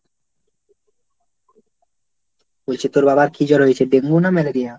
বলছি তোর বাবার কি জ্বর হয়েছে? ডেঙ্গু না ম্যালেরিয়া?